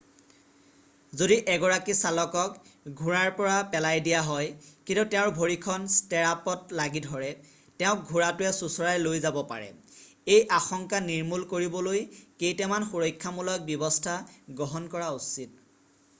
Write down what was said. যদি এগৰাকী চালকক ঘোঁৰাৰ পৰা পোলাই দিয়া হয় কিন্তু তেওঁৰ ভৰিখন ষ্টিৰাপত লাগি ধৰে তেওঁক ঘোঁৰাটোৱে চোঁচোৰাই লৈ যাব পাৰে এই আশংকা নিৰ্মূল কৰিবলৈ কেইটামান সুৰক্ষামূলক ব্যৱস্থা গ্ৰহণ কৰা উচিত